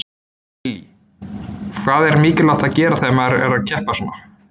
Lillý: Hvað er mikilvægt að gera þegar maður er að keppa svona?